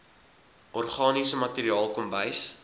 organiese materiaal kombuis